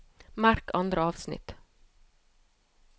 Merk andre avsnitt